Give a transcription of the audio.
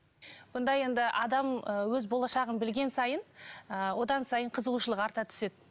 онда енді адам ы өз болашағын білген сайын ы одан сайын қызығушылық арта түседі